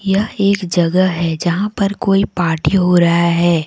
यह एक जगह है जहां पर कोई पार्टी हो रहा है।